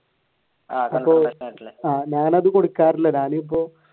ഞാൻ അത് കൊടുക്കാറില്ല ഞാനിപ്പോ